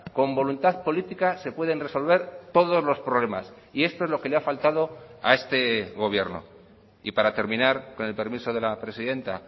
con voluntad política se pueden resolver todos los problemas y esto es lo que le ha faltado a este gobierno y para terminar con el permiso de la presidenta